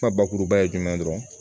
Ka bakuruba ye jumɛn ye dɔrɔn